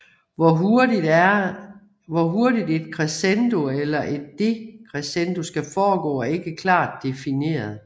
Hvor hurtigt et crescendo eller et decrescendo skal foregå er ikke klart difineret